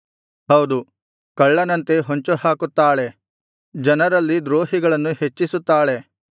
ಹೌದು ಕಳ್ಳನಂತೆ ಹೊಂಚುಹಾಕುತ್ತಾಳೆ ಜನರಲ್ಲಿ ದ್ರೋಹಿಗಳನ್ನು ಹೆಚ್ಚಿಸುತ್ತಾಳೆ